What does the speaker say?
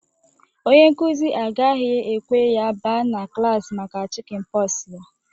Ọnye nkuzi agaghi-ekwe ya ba na klaasị maka chikin pox ya.